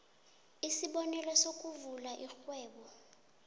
isibonelo sokuvula irhwebo